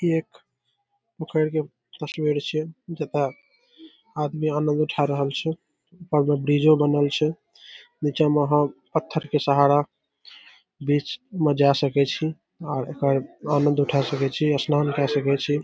एक पोखर के तस्वीर छिये जता आदमी अन्न उठा रहल छै ऊपर में ब्रिजो बनल छै नीचा में आहां पत्थर के सहारा बीच में जाय सके छी आर एकर आनंद उठा सके छी स्नान काय सके छी।